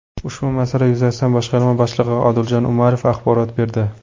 Ushbu masala yuzasidan boshqarma boshlig‘i Odiljon Umarov axborot berdi.